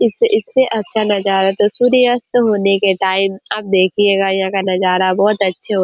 इससे इससे अच्छा नजारा तो सूर्य अस्त होने के टाइम आप देखियेगा यहाँ का नजारा बहोत अच्छे हो --